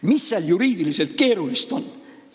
Mis seal juriidiliselt keerulist on?